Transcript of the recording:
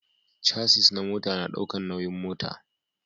Casis na mota na daukan nauyin mota